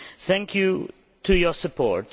Thank you for your support.